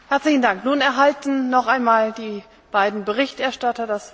Ďakujem za vaše príspevky k tejto diskusii a vyslovujem